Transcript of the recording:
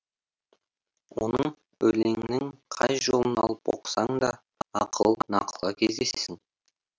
онын өлеңінің қай жолын алып оқысаң да ақыл нақылға кездесесің